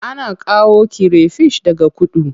Ana kawo kire fish daga kudu.